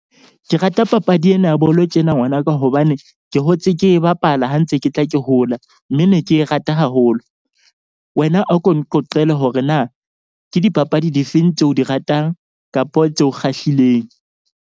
Ke rata papadi ena ya bolo tjena ngwanaka hobane ke hotse ke e bapala ha ntse ke tla ke hola. Mme ne ke e rata haholo. Wena a ko nqoqele hore na ke dipapadi di feng tseo di ratang kapo tseo kgahlileng.